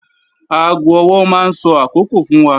Aago ọwọ́ máa ń sọ àkókò fún wa